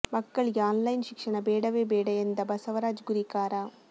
ಮಕ್ಕಳಿಗೆ online ಶಿಕ್ಷಣ ಬೇಡವೇ ಬೇಡ ಎಂದ ಬಸವರಾಜ ಗುರಿಕಾರ